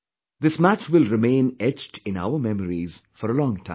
" This match will remain etched in our memories for a long time